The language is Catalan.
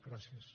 gràcies